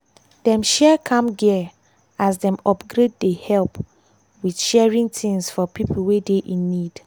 dem share camp gear as dem upgrade dey help with sharing things for pipo wey dey in need.